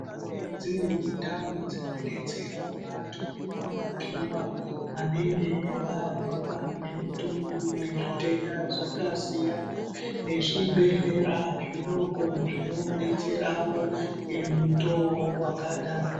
Kune dzimweni ndau dzinodetsera vantu kurapiwa vanenge varwara ngemutongo nezvitenda zvakasiyana nezvibhehlera zvidoko zvinodetserawo ngemutoo wakadaro.